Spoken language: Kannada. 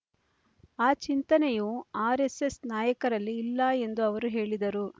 ಆ ಚಿಂತನೆಯೂ ಆರ್ ಎಸ್ ಎಸ್ ನಾಯಕರಲ್ಲಿ ಇಲ್ಲ ಎಂದು ಅವರು ಹೇಳಿದರು